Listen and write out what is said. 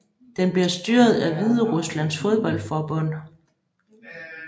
Den bliver styret af Hvideruslands fodboldforbund